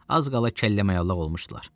Az qala kəlləməayalaq olmuşdular.